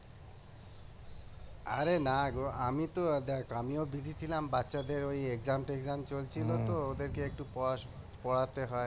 আরে না গো দেখো আমি তো দেখ আমিও busy ছিলাম বাচ্চাদের ওই exam টেক্সাম চলছিল তো ওদেরকে একটু পরা পরাতে হয়